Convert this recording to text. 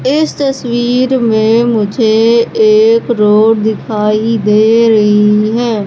इस तस्वीर में मुझे एक रोड दिखाई दे रही है।